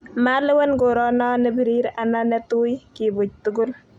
malewen korono ne birir ana ne tui kiibuch tugul